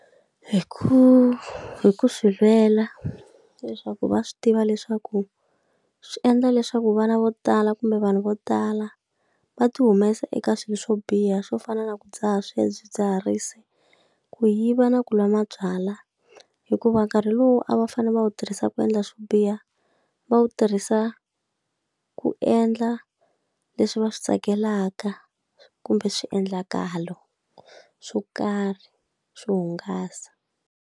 Hi ku hi ku swi lwela leswaku va swi tiva leswaku swi endla leswaku vana vo tala kumbe vanhu vo tala, va ti humesa eka swilo swo biha swo fana na ku dzaha swidzidziharisi, ku yiva, na ku lwa mabyalwa hikuva nkarhi lowu a va fanele va wu tirhisa ku endla swo biha va wu tirhisa ku endla leswi va swi tsakelaka, kumbe swiendlakalo swo karhi swo hungasa.